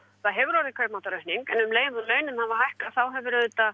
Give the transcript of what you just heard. það hefur orðið kaupmáttaraukning en um leið og launin hafa hækkað þá hefur auðvitað